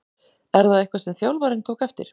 Er það eitthvað sem þjálfarinn tók eftir?